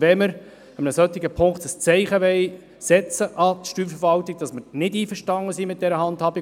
Ich gebe das Wort an die Finanzdirektorin.